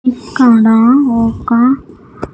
ఇక్కడ ఒక్క.